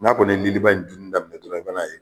N'a kɔni ye liliba in dunni daminɛ dɔrɔn i bɛ n'a ye